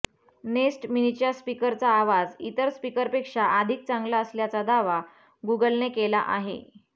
nest मिनीच्या स्पीकरचा आवाज इतर स्पीकरपेक्षा अधिक चांगला असल्याचा दावा गुगलने केला आहे